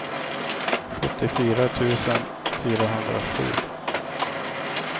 sjuttiofyra tusen fyrahundrasju